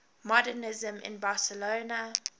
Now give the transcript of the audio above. modernisme in barcelona